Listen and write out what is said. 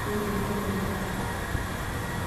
pee eyiolou enitaas ate.